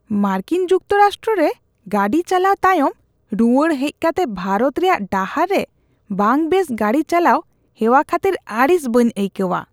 ᱢᱟᱨᱠᱤᱱ ᱡᱩᱠᱛᱚᱼᱨᱟᱥᱴᱨᱚ ᱨᱮ ᱜᱟᱹᱰᱤ ᱪᱟᱞᱟᱣ ᱛᱟᱭᱚᱢ, ᱨᱩᱣᱟᱹᱲ ᱦᱮᱡ ᱠᱟᱛᱮ ᱵᱷᱟᱨᱚᱛ ᱨᱮᱭᱟᱜ ᱰᱟᱦᱟᱨ ᱨᱮ ᱵᱟᱝᱵᱮᱥ ᱜᱟᱹᱰᱤ ᱪᱟᱞᱟᱣ ᱦᱮᱣᱟ ᱠᱷᱟᱹᱛᱤᱨ ᱟᱹᱲᱤᱥ ᱵᱟᱹᱧ ᱟᱹᱭᱠᱟᱹᱣᱟ ᱾